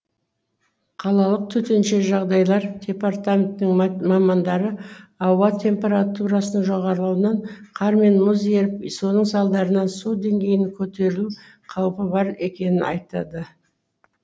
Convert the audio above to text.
қалалық төтенше жағдайлар департаментінің мамандары ауа температурасының жоғарылауынан қар мен мұз еріп соның салдарынан су деңгейінің көтерілу қаупі бар екенін айтады